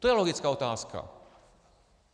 To je logická otázka.